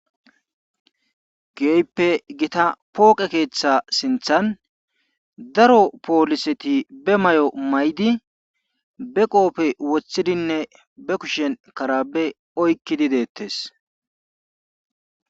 Keehippe gita pooqe keetha sinthan daro pooliseti be mayo mayidi be qoofe wothidinne be kushen karabbe oykkidi deettes.